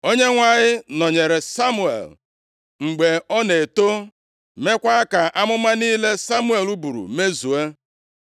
Onyenwe anyị nọnyeere Samuel mgbe ọ na-eto, meekwa ka amụma niile Samuel buru mezuo.